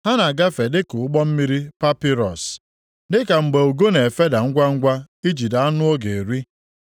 Ha na-agafe dịka ụgbọ mmiri papịrọs, + 9:26 Ọ bụ nʼIjipt ka a na-eji ahịhịa papịrọs arụ ụgbọ epeepe. \+xt Ọpụ 2:3\+xt* dịka mgbe ugo na-efeda ngwangwa ijide anụ ọ ga-eri.